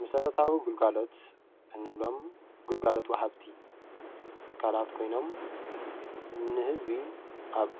መሰረታዊ ግልጋሎት እንብሎም ግልጋሎት ዋሃብቲ ትካላት ኮይኖም ንህዝቢ ኣብ